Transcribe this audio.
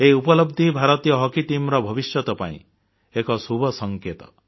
ଏହି ଉପଲବ୍ଧି ଭାରତୀୟ ହକି ଟିମର ଭବିଷ୍ୟତ ପାଇଁ ଏକ ଶୁଭ ସଂକେତ